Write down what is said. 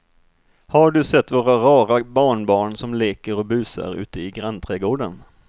Har du sett våra rara barnbarn som leker och busar ute i grannträdgården!